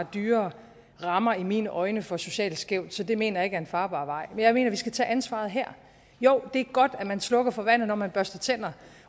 dyrere rammer i mine øjne for socialt skævt så det mener jeg ikke er en farbar vej men jeg mener at vi skal tage ansvaret her jo det er godt at man slukker for vandet når man børster tænder